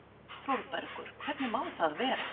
ÞÓRBERGUR: Hvernig má það vera?